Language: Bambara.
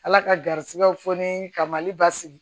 Ala ka garisigɛw fɔ ni ka mali basigi